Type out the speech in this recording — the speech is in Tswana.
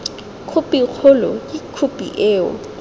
khophi kgolo ke khophi eo